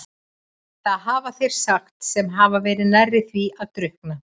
Það hafa þeir sagt sem hafa verið nærri því að drukkna.